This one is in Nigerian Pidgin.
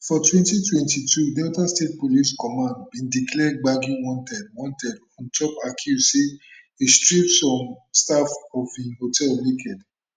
for 2022 delta state police command bin declare gbagi wanted wanted on top accuse say e strip some staff of im hotel naked